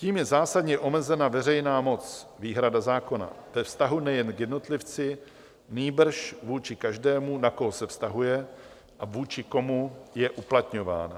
Tím je zásadně omezena veřejná moc, výhrada zákona, ve vztahu nejen k jednotlivci, nýbrž vůči každému, na koho se vztahuje a vůči komu je uplatňován.